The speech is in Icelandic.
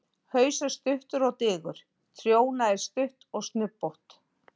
Haus er stuttur og digur, trjóna er stutt og snubbótt.